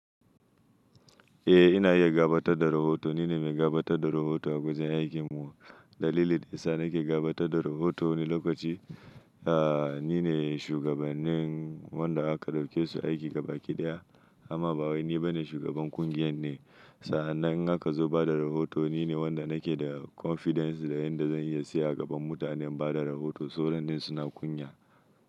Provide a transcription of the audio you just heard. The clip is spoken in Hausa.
Eh ina iya gabatar da rahoto. Ni ne mai gabatar da rahoto a gwajin aikin mu. Dalilin dayasa nake gabatar da rahoto wani lokaci, eh ni ne shugabannin wanda aka dauke su aiki gaba kiɗaya amma ba wai ni bane shugaban kungiyar ne. Sa'an nan in aka zo bada rahoto ni ne wanda nake da confidence da yadda zan iya siya a gaban mutanen bada rahoto sauran din suna kunya.